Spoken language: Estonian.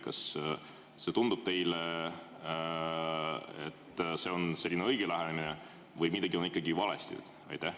Kas see tundub teile õige lähenemisena või on midagi ikkagi valesti?